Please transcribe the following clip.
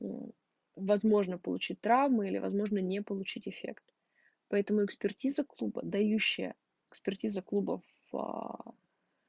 мм возможно получить травму или возможно не получить эффект поэтому экспертиза клуба дающая экспертиза клуба